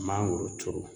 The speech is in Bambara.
Mangoro turu